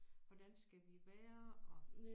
Hvordan skal vi være og